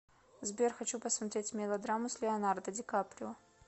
сбер хочу посмотреть мелодраму с леонардо ди каприо